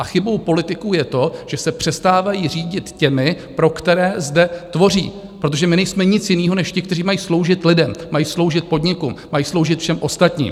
A chybou politiků je to, že se přestávají řídit těmi, pro které zde tvoří, protože my nejsme nic jiného než ti, kteří mají sloužit lidem, mají sloužit podniku, mají sloužit všem ostatním.